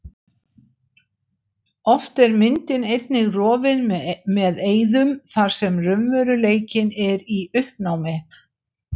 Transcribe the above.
Oft er myndin einnig rofin með eyðum þar sem raunveruleikinn er í uppnámi.